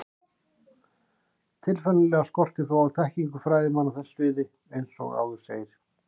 Tilfinnanlega skortir þó á þekkingu fræðimanna á þessu sviði eins og áður segir.